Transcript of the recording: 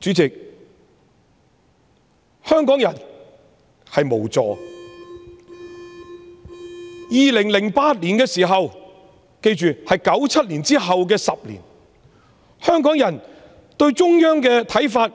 主席，香港人感到無助，在2008年，即1997年之後的10年，香港人對中央的認同